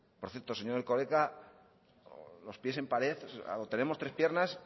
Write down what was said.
por cierto señor erkoreka los pies en pared o tenemos tres piernas